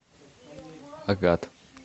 агат